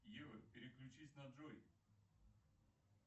ева переключись на джой